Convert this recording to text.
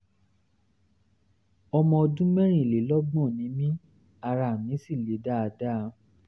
ọmọ ọdún mẹ́rìnlélọ́gbọ̀n ni mí ara mi sì le dáadáa